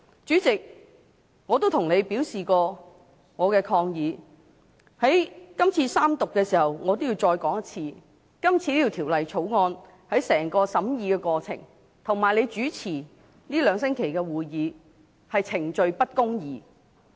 主席，我已向你表示過我的抗議，現在三讀的時候，我要再說一次，今次就《條例草案》的整個審議過程，以及你主持這兩星期的會議，是程序不公義。